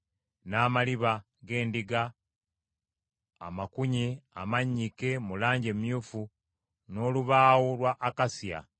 n’amaliba g’endiga ennume amakunye amannyike mu langi emyufu, n’ekika ky’eddiba ekirala ekiwangaazi; n’embaawo z’omuti gwa akasiya,